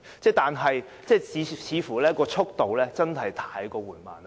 所以，改建暖水池的速度真是太過緩慢。